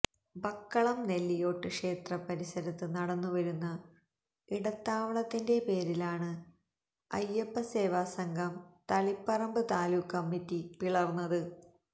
ബക്കളം നെല്ലിയോട്ട് ക്ഷേത്ര പരിസരത്ത് നടന്നു വരുന്ന ഇടത്താവളത്തിന്റെ പേരിലാണ് അയ്യപ്പസേവാസംഘം തളിപ്പറമ്പ് താലൂക്ക് കമ്മിറ്റി പിളർന്നത്